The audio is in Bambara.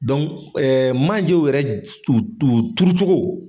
manjew yɛrɛ u u turu cogo